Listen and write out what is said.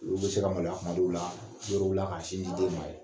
Olu bɛ se ka maloya tuma dɔw la yɔrɔ dɔw la ka sin di den ma yen